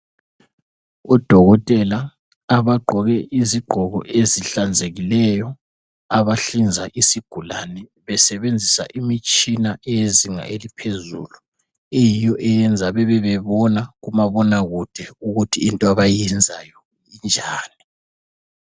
Odokotela abagqoke izigqoko ezihlanzekileyo abahlinza isigulane besebenzisa imitshina eyezinga eliphezulu eyiyo eyenza bebe bebona kumabonakude ukuthi into abayenzayo injani .